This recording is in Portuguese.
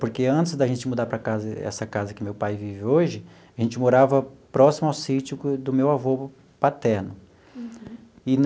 Porque antes da gente mudar para essa casa que meu pai vive hoje, a gente morava próximo ao sítio do meu avô paterno.